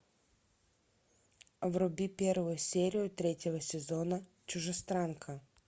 вруби первую серию третьего сезона чужестранка